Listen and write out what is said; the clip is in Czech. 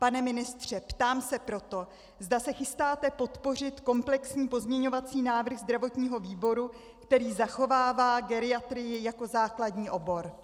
Pane ministře, ptám se proto, zda se chystáte podpořit komplexní pozměňovací návrh zdravotního výboru, který zachovává geriatrii jako základní obor.